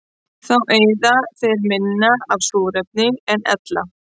Þá eyða þeir minna af súrefni en ella.